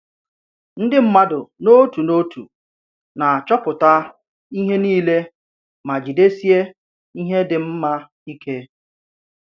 Ndì mmadụ n’òtù n’òtù nà-achọpụta ìhè niile mà jìdesiè ìhè dị mma ìkè!